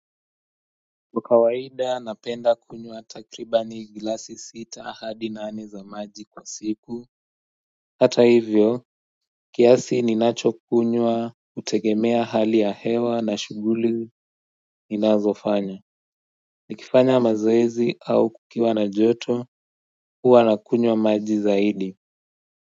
Kwa kawaida napenda kunywa takriban glasi sita hadi nane za maji kwa siku hata hivyo kiasi ninacho kunywa kutegemea hali ya hewa na shughuli ninazofanya nikifanya mazoezi au kukiwa na joto huwa na kunywa maji zaidi.